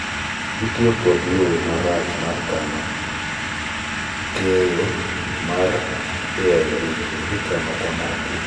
gitiyo kod yo ,arach mar kano keyo 9omino ni AIVs ikano kama otuo)